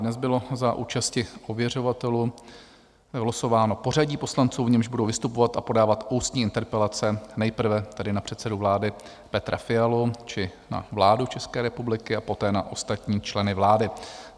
Dnes bylo za účasti ověřovatelů vylosováno pořadí poslanců, v němž budou vystupovat a podávat ústní interpelace, nejprve tedy na předsedu vlády Petra Fialu či na vládu České republiky a poté na ostatní členy vlády.